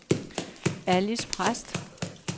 Alis Præst